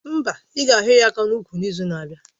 Mba, ị ga hio ya aka n'úkwù n'izu na-abịa.